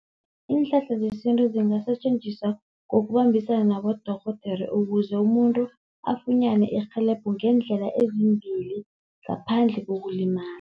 Iinhlahla zesintu zingasetjenziswa ngokubambisana nabodorhodera, ukuze umuntu afunyane irhelebho ngeendlela ezimbili ngaphandle kokulimala.